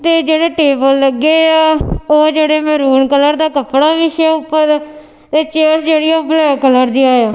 ਤੇ ਜਿਹੜੇ ਟੇਬਲ ਲੱਗੇ ਆ ਉਹ ਜਿਹੜੇ ਮੈਰੂਨ ਕਲਰ ਦਾ ਕੱਪੜਾ ਵਿਛਿਆ ਉੱਪਰ ਇਹ ਚੇਅਰ ਜਿਹੜੀ ਉਹ ਬਲੈਕ ਕਲਰ ਦੀ ਆ।